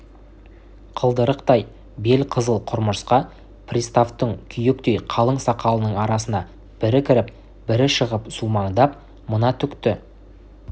қылдырық бел қызыл құмырсқа приставтың күйектей қалың сақалының арасына бірі кіріп бірі шығып сумаңдап мына түкті